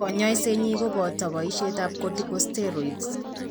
Kanyoiset nyi koboto boishetab corticosteroids